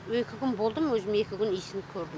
екі күн болдым өзім екі күн иісін көрдім